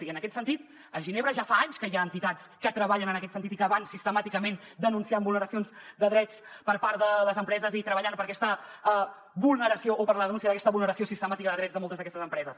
i en aquest sentit a ginebra ja fa anys que hi ha entitats que treballen en aquest sentit i que van sistemàticament denunciant vulneracions de drets per part de les empreses i treballant per aquesta vulneració o per la denúncia d’aquesta vulneració sistemàtica de drets de moltes d’aquestes empreses